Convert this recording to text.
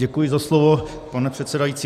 Děkuji za slovo, pane předsedající.